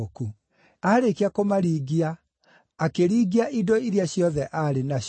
Aarĩkia kũmaringia, akĩringia indo iria ciothe aarĩ nacio.